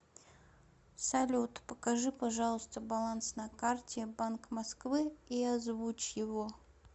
салют покажи пожалуйста баланс на карте банк москвы и озвучь его